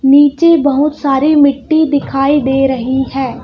नीचे बहोत सारी मिट्टी दिखाई दे रही है।